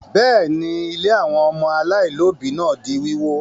Bẹ́ẹ̀ ni, ilé àwọn ọmọ aláìlóòbí náà di wíwó.